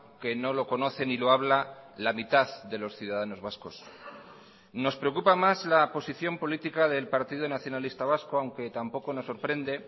que no lo conoce ni lo habla la mitad de los ciudadanos vascos nos preocupa más la posición política del partido nacionalista vasco aunque tampoco nos sorprende